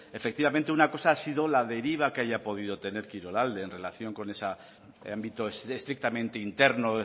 efectivamente una cosa ha sido la deriva que haya podido tener kirolalde en relación con ese ámbito estrictamente interno